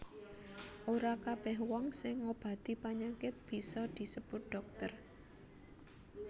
Ora kabèh wong sing ngobati panyakit bisa disebut dhokter